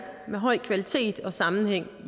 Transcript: med høj kvalitet og sammenhæng